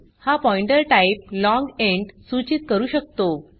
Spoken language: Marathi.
हा पॉइण्टर टाइप लाँग इंट सूचीत करू शकतो